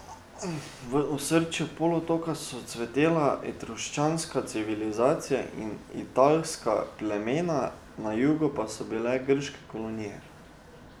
V osrčju polotoka so cvetela etruščanska civilizacija in italska plemena, na jugu pa so bile grške kolonije.